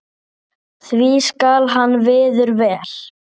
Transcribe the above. því skal hann virður vel.